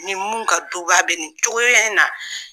Ni mun ka duba bɛ nin cogoya in na